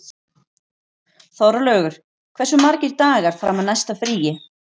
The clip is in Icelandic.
Þorlaugur, hversu margir dagar fram að næsta fríi?